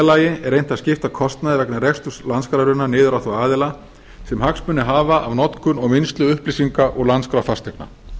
lagi er reynt að skipta kostnaði vegna reksturs landskrárinnar niður á þá aðila sem hagsmuni hafa af notkun og vinnslu upplýsinga úr landskrá fasteigna